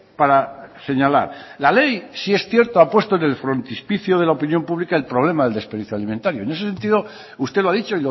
para señalar la ley sí es cierto ha puesto en el frontispicio de la opinión pública el problema del desperdicio alimentario en ese sentido usted lo ha dicho